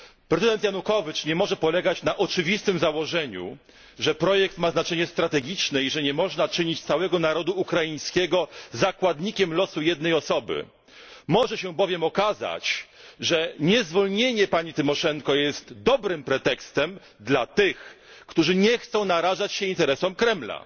Prezydent Janukowicz nie może polegać na oczywistym założeniu, że projekt ma strategiczne znaczenie i że nie można czynić całego narodu ukraińskiego zakładnikiem losu jednej osoby. Może się bowiem okazać, że niezwolnienie pani Tymoszenko jest dobrym pretekstem dla tych, którzy nie chcą narażać się interesom Kremla.